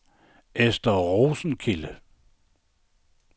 Esther Rosenkilde